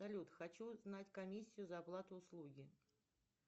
салют хочу узнать комиссию за оплату услуги